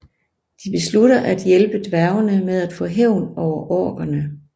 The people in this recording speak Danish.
De beslutter at hjælpe dværgene med at få hævn over orkerne